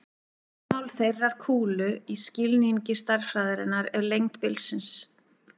Rúmmál þeirrar kúlu í skilningi stærðfræðinnar er lengd bilsins.